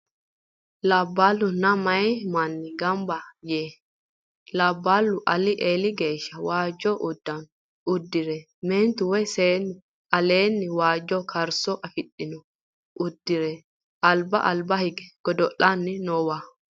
Labballunna meeya manni gamba yee labballu alii eeli geeshsha waajjo uddano uddire meentu woy seennu aleenni haanja karso afidhino uddire alba alba hige godo'lanni noowa.